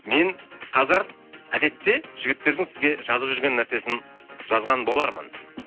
мен қазір әдетте жігіттердің сізге жазып жүрген нәрсесін жазған болармын